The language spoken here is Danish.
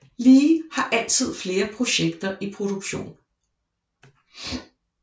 Lee har altid flere projekter i produktion